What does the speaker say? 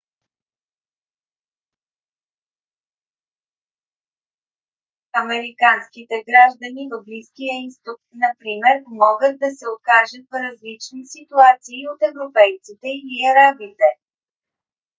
американските граждани в близкия изток например могат да се окажат в различни ситуации от европейците или арабите